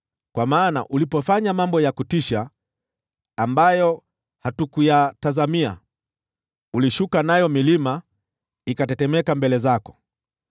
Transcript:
Kwa maana ulipofanya mambo ya kutisha ambayo hatukuyatazamia, ulishuka, nayo milima ikatetemeka mbele zako.